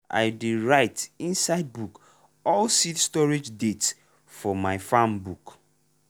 i dey write inside book all seed storage date for my farm book.